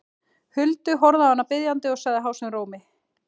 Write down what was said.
Huldu, horfði á hana biðjandi og sagði hásum rómi